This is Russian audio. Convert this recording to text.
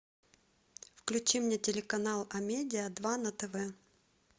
включи мне телеканал амедиа два на тв